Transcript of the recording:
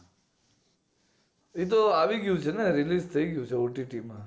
એ તો આવી ગયું છે ને release થઈ ગયું છે OTT માં